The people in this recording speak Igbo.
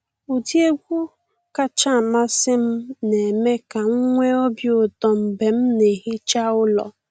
Ụdị egwu kachasị amasị m na eme ka m nwee obi ụtọ mgbe m na ehicha ụlọ.